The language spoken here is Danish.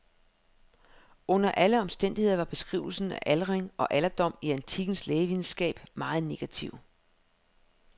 Under alle omstændigheder var beskrivelserne af aldring og alderdom i antikkens lægevidenskab meget negative.